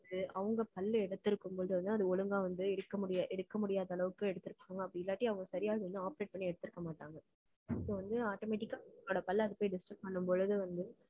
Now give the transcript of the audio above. அது அவங்க பல்லை எடுத்திருக்கும்போது வந்து, அது ஒழுங்கா வந்து, எடுக்க முடியா~ எடுக்க முடியாத அளவுக்கு எடுத்திருக்காங்க. அப்படி இல்லாட்டி, அவங்க சரியா அத வந்து operate பண்ணி, எடுத்திருக்க மாட்டாங்க. So, வந்து automatic ஆ அதோட பல்லு அது போய் disturb பண்ணும் பொழுது வந்து,